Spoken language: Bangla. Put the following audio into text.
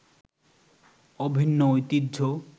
অভিন্ন ঐতিহ্য